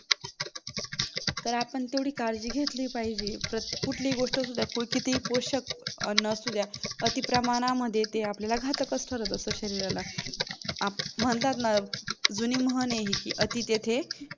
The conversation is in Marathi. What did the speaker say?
तर आपण तेवढे काळजी घेतली पाहिजे, कुठली गोष्ट असू द्या कुल किती हि पोषक अन्न असू द्या ती अती प्रमाणामध्ये ते आपल्याला घातकच ठरत असत शरीराला म्हणतात ना जुनी म्हण आहे हे अति तेथे